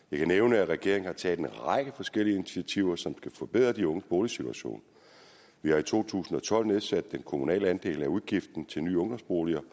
jeg kan nævne at regeringen har taget en række forskellige initiativer som skal forbedre de unges boligsituation vi har i to tusind og tolv nedsat den kommunale andel af udgiften til nye ungdomsboliger